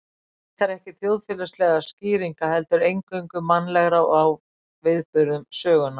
Hann leitar ekki þjóðfélagslegra skýringa, heldur eingöngu mannlegra á viðburðum sögunnar.